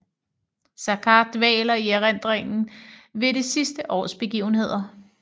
Saccard dvæler i erindringen ved det sidste års begivenheder